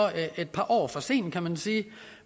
et par år for sent kan man sige